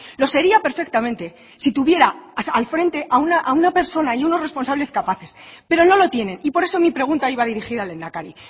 lo sería perfectamente si tuviera al frente a una persona y unos responsables capaces pero no lo tienen por eso mi pregunta iba dirigida al lehendakari